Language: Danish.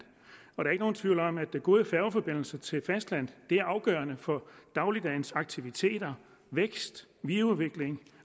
og der er ikke nogen tvivl om at gode færgeforbindelser til fastlandet er afgørende for dagligdagens aktiviteter vækst videreudvikling